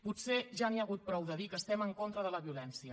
potser ja n’hi ha hagut prou de dir que estem en contra de la violència